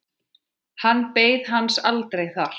Hann beið hans aldrei þar.